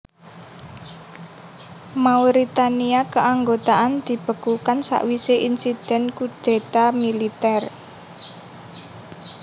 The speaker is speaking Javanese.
Mauritania Keanggotaan dibekukan sawisé insiden kudéta militer